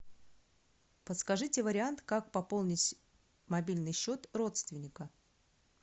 подскажите вариант как пополнить мобильный счет родственника